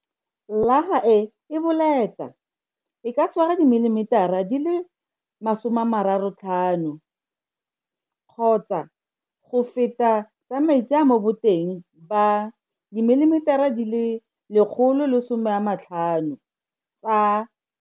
Llaga e e boleta e ka tshwara dimilimetara di le 35 kgotsa go feta tsa metsi mo boteng ba dimilimetara die le 150 tsa.